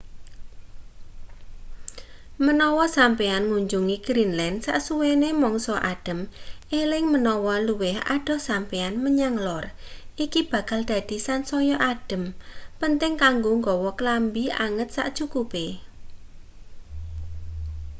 menawa sampeyan ngunjungi greenland sasuwene mangsa adhem eling menawa luwih adoh sampeyan menyang lor iki bakal dadi sansaya adhem penting kanggo nggawa klambi anget sacukupe